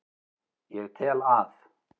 Ég tel að